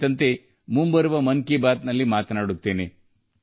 ಮುಂಬರುವ 'ಮನ್ ಕಿ ಬಾತ್' ನಲ್ಲೂ ಈ ವಿಷಯ ಪ್ರಸ್ತಾಪಿಸುತ್ತೇನೆ